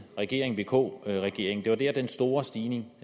regering vk regeringen det var der den store stigning